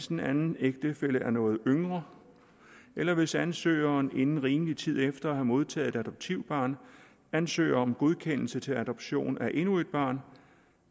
den anden ægtefælle er noget yngre eller hvis ansøgeren inden en rimelig tid efter at have modtaget et adoptivbarn ansøger om godkendelse til adoption af endnu et barn